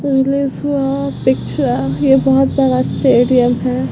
वहाँ पिक्चर ये बोहोत बड़ा स्टेडियम है।